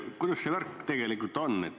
Kuidas see värk tegelikult on?